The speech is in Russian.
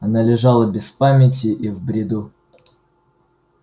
она лежала без памяти и в бреду